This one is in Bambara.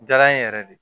Jara n ye yɛrɛ de